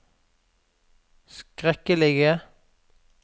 skrekkelige